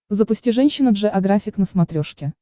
запусти женщина джеографик на смотрешке